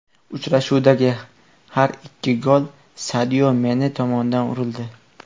Uchrashuvdagi har ikki gol Sadio Mane tomonidan urildi.